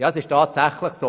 Es trifft tatsächlich zu: